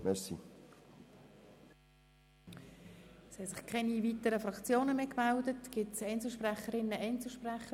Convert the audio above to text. Es wünschen sich keine weiteren Sprecher zu äussern.